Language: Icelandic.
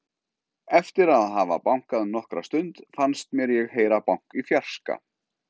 Eftir að hafa bankað nokkra stund fannst mér ég heyra bank í fjarska.